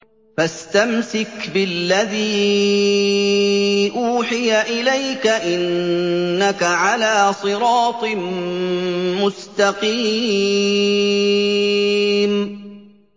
فَاسْتَمْسِكْ بِالَّذِي أُوحِيَ إِلَيْكَ ۖ إِنَّكَ عَلَىٰ صِرَاطٍ مُّسْتَقِيمٍ